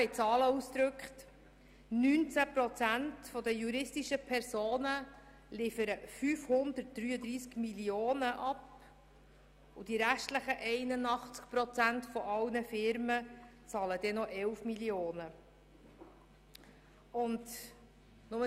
In Zahlen ausgedrückt liefern 19 Prozent der juristischen Personen 533 Mio. Franken ab und die restlichen 81 Prozent aller Firmen zahlen 11 Mio. Franken.